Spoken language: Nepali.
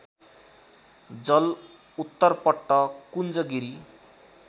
जल उत्तरपट्ट कुञ्जगिरी